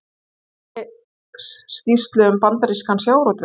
Gerir skýrslu um bandarískan sjávarútveg